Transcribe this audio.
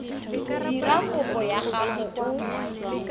dira kopo ya gago o